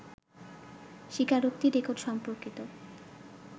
স্বীকারোক্তি রেকর্ড সম্পর্কিত